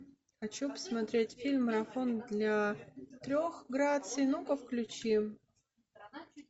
хочу посмотреть фильм марафон для трех граций ну ка включи